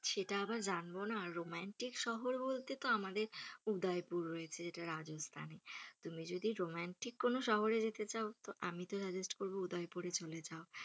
সেটা আবার জানবো না রোমান্টিক শহর বলতে তো আমাদের উদয়পুর রয়েছে রাজস্থানে, তুমি যদি রোমান্টক কোনো শহরে যেতে চাও তো আমি তো suggest করব উদয়পুরে চলে যাও।